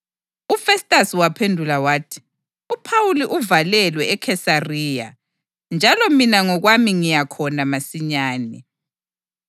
UFestasi waphendula wathi, “UPhawuli uvalelwe eKhesariya, njalo mina ngokwami Ngiya khona masinyane.